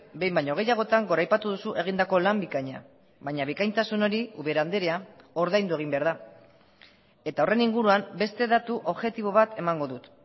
behin baino gehiagotan goraipatu duzu egindako lan bikaina baina bikaintasun hori ubera andrea ordaindu egin behar da eta horren inguruan beste datu objektibo bat emango dut